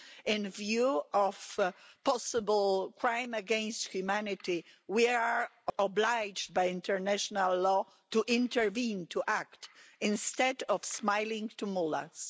In view of a possible crime against humanity, we are obliged by international law to intervene, to act, instead of smiling at mullahs.